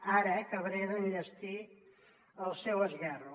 ara acabaré d’enllestir el seu esguerro